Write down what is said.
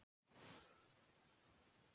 Ég kann ekki nógu vel við það.